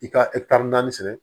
I ka naani sɛnɛ